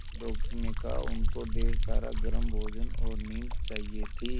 doctor ने कहा उनको ढेर सारा गर्म भोजन और नींद चाहिए थी